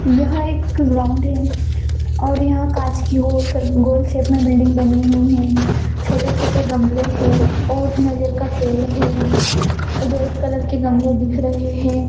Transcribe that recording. यह एक ग्राउंड है और यहा कांच की गोल शे-- गोल शेप में बिल्डिंग बनी हुई है छोटे छोटे गमले है और नारियल का पेड़ है रेड कलर के गमले दिख रहे है।